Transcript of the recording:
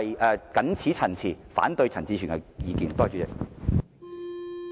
我謹此陳辭，反對陳志全議員的議案。